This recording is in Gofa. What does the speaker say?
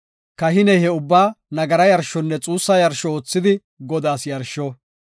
“Kahiney he ubbaa nagara yarshonne xuussa yarsho oothidi Godaas yarsho.